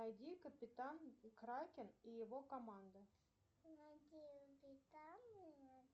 найди капитан кракен и его команда